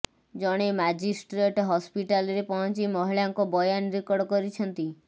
ଜଣେ ମାଜିଷ୍ଟ୍ରେଟ ହସ୍ପିଟାଲରେ ପହଞ୍ଚି ମହିଳାଙ୍କ ବୟାନ ରେକର୍ଡ କରିଛନ୍ତି